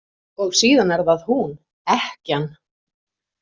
Og síðan er það hún: Ekkjan.